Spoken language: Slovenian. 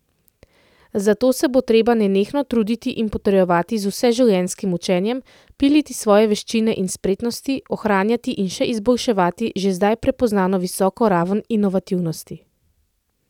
Za to se bo treba nenehno truditi in potrjevati z vseživljenjskim učenjem, piliti svoje veščine in spretnosti, ohranjati in še izboljševati že zdaj prepoznano visoko raven inovativnosti.